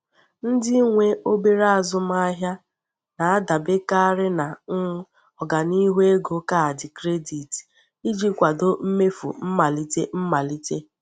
Ndị nwe obere azụmaahịa na-adaberekarị na um ọganihu ego kaadị kredit iji kwado mmefu mmalite mmalite.